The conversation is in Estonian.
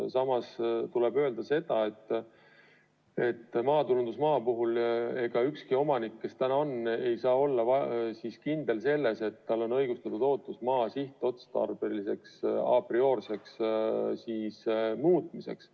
Samas tuleb öelda, et maatulundusmaa puhul ei saa ükski praegune omanik olla kindel, et tal on õigustatud ootus maa sihtotstarbe muutmiseks.